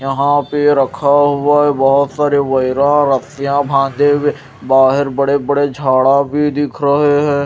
यहां पे रखा हुआ है बहोत सारे रसिया बांधे हुए बाहेर बड़े बड़े झाड़ा भी दिख रहे हैं।